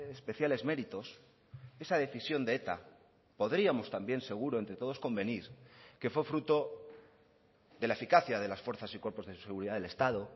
especiales méritos esa decisión de eta podríamos también seguro entre todos convenir que fue fruto de la eficacia de las fuerzas y cuerpos de seguridad del estado